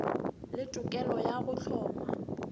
le tokelo ya go hloma